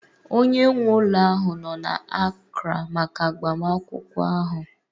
Onye nwe ụlọ ahụ nọ na Accra maka agbamakwụkwọ ahụ